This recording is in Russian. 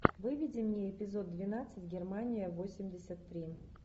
выведи мне эпизод двенадцать германия восемьдесят три